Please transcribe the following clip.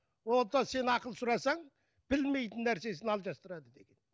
одан сен ақыл сұрасаң білмейтін нәрсесін алжастырады деген